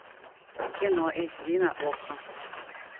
кино эйч ди на окко